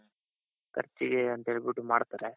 ಖರ್ಚಿಗೆ ಅಂತ ಹೇಳ್ಬಿಟ್ಟು ಮಾಡ್ತಾರೆ.